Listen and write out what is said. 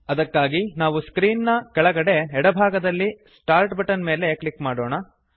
ಅದಕ್ಕಾಗಿ ನಾವು ಸ್ಕ್ರೀನ್ ನ ಪರದೆಯ ಕೆಳಗೆ ಎಡಭಾಗದಲ್ಲಿ ಸ್ಟಾರ್ಟ್ ಬಟನ್ ಮೇಲೆ ಕ್ಲಿಕ್ ಮಾಡೋಣ